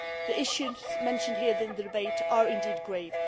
The issues mentioned here in the debate are indeed grave